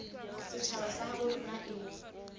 setjhaba sa habo rona e